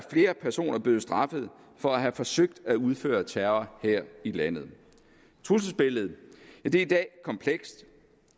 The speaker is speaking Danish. flere personer blevet straffet for at have forsøgt at udføre terror her i landet trusselsbilledet er i dag komplekst